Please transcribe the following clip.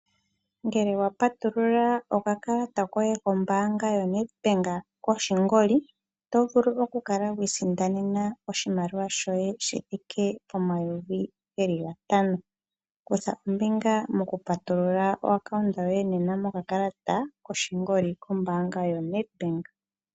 Ngele wa patulula okakalata koye kombaanga yaNedbank koshingoli oto vulu okukala wi i sindanena oshimaliwa shoye shi thike pomayovi gatano. Kutha ombinga mokupatulula omayalulo goye gombaanga gokakalata koshingoli kombaanga yaNedbank.